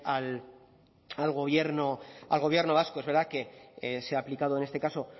al gobierno vasco es verdad que se ha aplicado en este caso